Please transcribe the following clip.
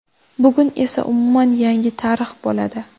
Bugun esa umuman yangi tarix bo‘ladi.